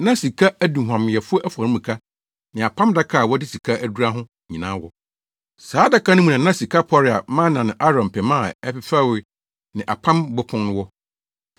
na sika aduhuamyɛfo afɔremuka ne Apam Adaka a wɔde sika adura ho nyinaa wɔ. Saa adaka no mu na na sika pɔre a mana ne Aaron pema a ɛfefɛwee ne apam bopon no wɔ.